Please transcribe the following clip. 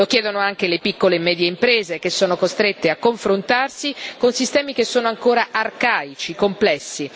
Lo chiedono anche le piccole e medie imprese, che sono costrette a confrontarsi con sistemi che sono ancora arcaici, complessi.